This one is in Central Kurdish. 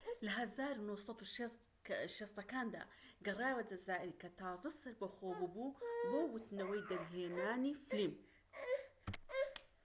لە ١٩٦٠ کاندا، گەڕایەوە جەزائیر کە تازە سەربەخۆ بووبوو بۆ وتنەوەی دەرهێنانی فلیم